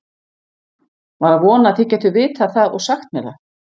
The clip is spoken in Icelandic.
Var að vona þið gætuð vitað það og sagt mér það.